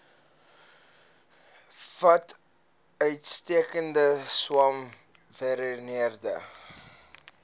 bevat uitstekende swamwerende